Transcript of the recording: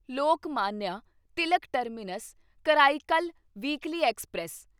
Lokmanya Tilak terminus Karaikal weekly express